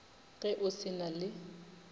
ge o se na le